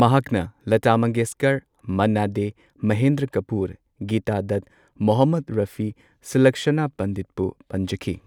ꯃꯍꯥꯛꯅ ꯂꯇꯥ ꯃꯪꯒꯦꯁꯀꯔ, ꯃꯟꯅꯥ ꯗꯦ, ꯃꯍꯦꯟꯗ꯭ꯔ ꯀꯄꯨꯔ, ꯒꯤꯇꯥ ꯗꯠ, ꯃꯣꯍꯝꯃꯗ ꯔꯥꯐꯤ, ꯁꯨꯂꯛꯁꯅꯥ ꯄꯟꯗꯤꯠ ꯄꯨ ꯄꯟꯖꯈꯤ꯫